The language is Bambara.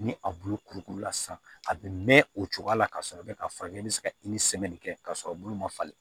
Ni a bulu kurukuru la sisan a bɛ mɛn o cogoya la ka sɔrɔ i bɛ ka fɔ k'e bɛ se ka kɛ k'a sɔrɔ bolo ma falen